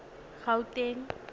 gauteng